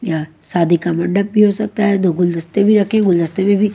यहाँ शादी का मंडप भी हो सकता हैं दो गुलदस्ते भी रखे गुलदस्ते में भी--